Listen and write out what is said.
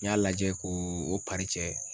N y'a lajɛ ko o